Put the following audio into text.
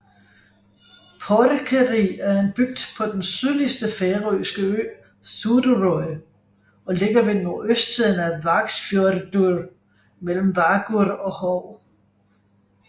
Porkeri er en bygd på den sydligste færøske ø Suðuroy og ligger ved nordøstsiden af Vágsfjørður mellem Vágur og Hov